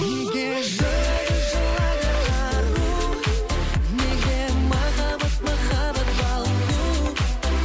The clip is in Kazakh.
неге жылайды жылайды ару неге махаббат махаббат балу